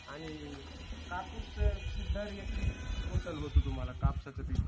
हो शेतीमध्ये तुषार वगैरे चांगल्या प्रकारे होत आहे.